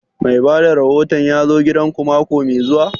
Mai bada rahoton ya zo gidan ku mako mai zuwa?